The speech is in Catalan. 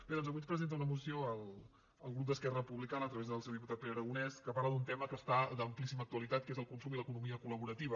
bé doncs avui ens presenta una moció el grup d’esquerra republicana a través del seu dipu·tat pere aragonès que parla d’un tema que està d’am·plíssima actualitat que és el consum i l’economia col·laborativa